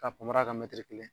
K'a panparan ka kelen